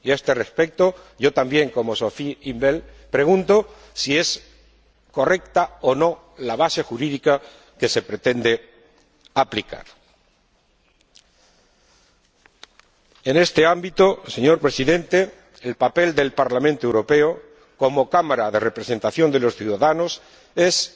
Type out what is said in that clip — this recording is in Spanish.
Y a este respecto, también —como Sophie in 't Veld— pregunto si es correcta o no la base jurídica que se pretende aplicar. En este ámbito, señor Presidente, el papel del Parlamento Europeo como Cámara de representación de los ciudadanos es